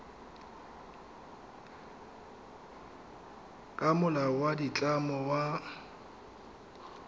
ka molao wa ditlamo wa